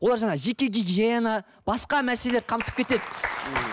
олар жаңа жеке гигиена басқа мәселелерді қамтып кетеді